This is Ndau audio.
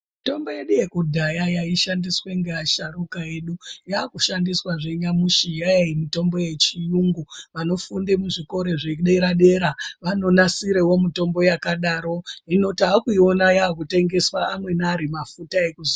Mitombo yedu yekudhaya yaishandiswa nevasharukwa vedu yakushandiswa zvenyamushi yamitombo yechirungu vanofunda kuzvikora zvedera dera vanonasirawo mitombo yakadaro hino takuiona ichitengeswa imweni amafuta ekuzora.